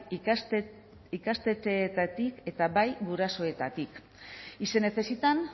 ikastetxeetatik eta bai gurasoetatik y se necesitan